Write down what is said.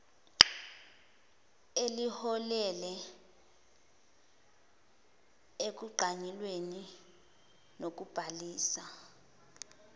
eliholele ekunqanyulweni kokubhalisa